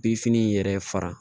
Binfini in yɛrɛ fara